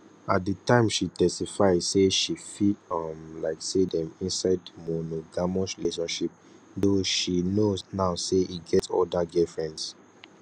at di time she testify say she feel um like say dem inside monogamous relationship though she know now say e get oda girlfriends